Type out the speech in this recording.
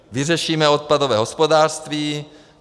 Vyřešíme odpadové hospodářství.